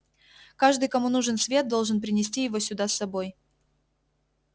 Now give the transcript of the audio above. каждый кому нужен свет должен принести его сюда с собой